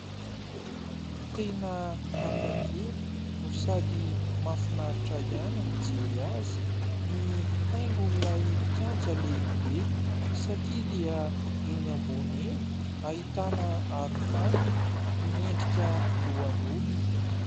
Tena hafakely no sady mahafinaritra ihany ny mijery azy, ny haingon'ilay kianja lehibe satria dia eny ambony eny ahitana arofanina miendrika lohan'olona.